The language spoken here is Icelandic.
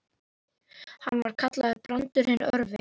Hann var kallaður Brandur hinn örvi.